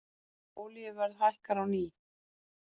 Olíuverð hækkar á ný